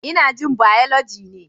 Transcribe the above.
Ina jin Biology ne.